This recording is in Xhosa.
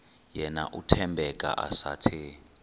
yena uthembeka esathe